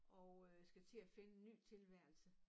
Og øh skal til at finde en ny tilværelse